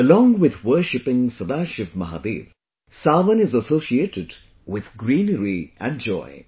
Along with worshiping Sadashiv Mahadev, 'Sawan' is associated with greenery and joy